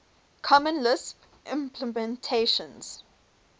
common lisp implementations